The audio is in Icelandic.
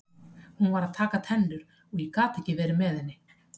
Hún var að taka tennur og ég gat ekki verið með henni.